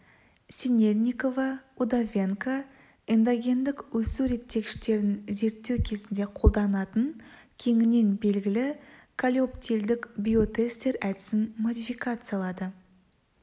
синельникова удовенко эндогендік өсу реттегіштерін зерттеу кезінде қолданатын кеңінен белгілі колеоптилдік биотестер әдісін модификациялады